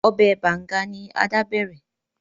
Obè Banga ni Ada bẹrẹ.